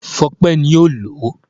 Fọpẹ́ ni ó lòó.